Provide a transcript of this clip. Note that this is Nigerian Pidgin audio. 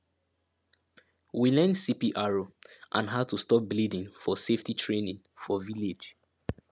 we learn cpr and how to stop bleeding for safety training for village